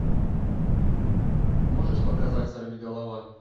можешь показать сорвиголова